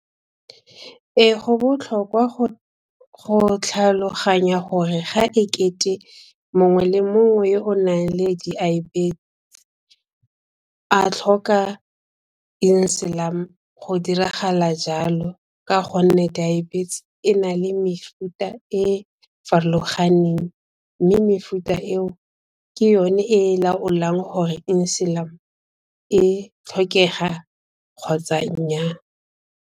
Ee go botlhokwa go tlhaloganya gore ga ekete mongwe le mongwe yo o nnang le a tlhoka go diragala jalo ka go nne diabetes e na le mefuta e farologaneng mme mefuta eo ke yone e laolang gore e tlhokega kgotsa nnyaa.